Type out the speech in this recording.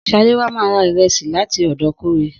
Saléwá ma ra ìrẹsì láti ọ̀dọ̀ Kóre.